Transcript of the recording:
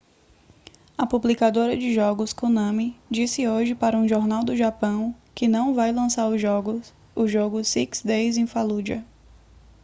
a publicadora de jogos konami disse hoje para um jornal do japão que não vai lançar o jogo six days in fallujah